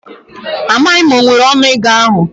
Amaghi m ma o nwere onu ego ahu